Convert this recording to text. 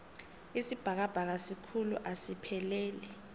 isibhakabhaka sikhulu asipheleli